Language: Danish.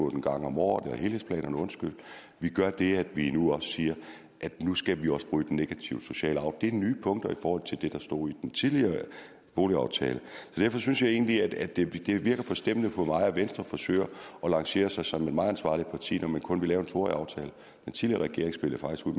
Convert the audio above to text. en gang om året vi gør det at vi nu siger at nu skal vi også bryde den negative sociale arv det er nye punkter i forhold til det der stod i den tidligere boligaftale så derfor synes jeg egentlig at det virker forstemmende på mig at venstre forsøger at lancere sig som et meget ansvarligt parti når man kun vil lave en to årig aftale den tidligere regering spillede faktisk ud